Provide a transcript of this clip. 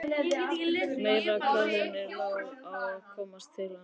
Meira hvað henni lá á að komast til hans!